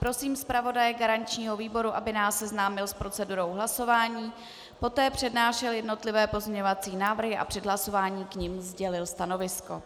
Prosím zpravodaje garančního výboru, aby nás seznámil s procedurou hlasování, poté přednášel jednotlivé pozměňovací návrhy a před hlasováním k nim sdělil stanovisko.